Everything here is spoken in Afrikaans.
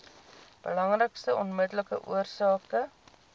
belangrikste onmiddellike oorsake